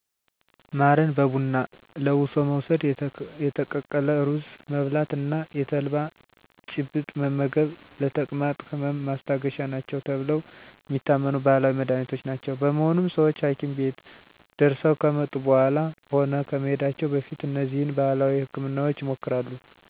ማርን በቡና ለውሶ መውስድ፣ የተቀቀለ ሩዝ መብላት እና የተልባ ጭብጥ መመገብ ለተቅማጥ ህመም ማስታገሻ ናቸው ተብለው የሚታመኑ ባህላዊ መድሀኒቶች ናቸው። በመሆኑም ሰወች ሀኪም ቤት ደርሰው ከመጡ በኃላም ሆነ ከመሄዳቸው በፊት እነዚህን ባህላዊ ህክምናወች ይሞክራሉ። ለምሳሌ ማር በቡና የሚዘጋጀው ተቆልቶ የተወገጠን ቡና ከማር ጋር በመለወስ ነው። የተልባ ጭብጥ ደግሞ በመጀመሪያ የጤፍ ቂጣ ከተጋገረ በኃላ በትኩሱ ቆርሶ ተቆልቶ ከተፈጨ ተልባ ጋር እየተለወሰ ይጨበጣል። ይህም በትኩሱ ይበላል።